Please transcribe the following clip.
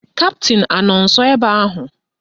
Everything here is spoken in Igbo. Kaptịn anọ nsọ ebe ahụ?